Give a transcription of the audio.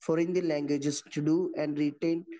four Indian languages to do and written